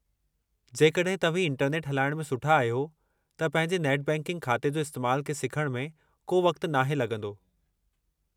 जेकड॒हिं तव्हीं इंटरनेट हलाइणु में सुठा आहियो, त पंहिंजे नेट बैंकिंग ख़ाते जे इस्तैमालु खे सिखणु में को वक़्तु नाहे लगं॒दो।